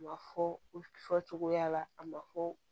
Ma fɔ u fɔcogoya la a ma fɔ